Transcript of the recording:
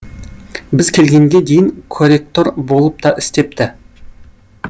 біз келгенге дейін коректор болып та істепті